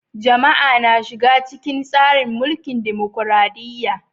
Jama'a na shiga cikin tsarin mulkin dimokradiyya.